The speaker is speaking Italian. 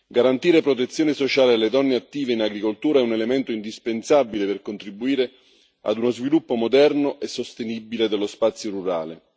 Garantire protezione sociale alle donne attive in agricoltura è un elemento indispensabile per contribuire ad uno sviluppo moderno e sostenibile dello spazio rurale.